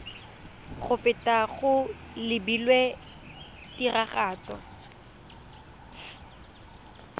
go feta go lebilwe tiragatso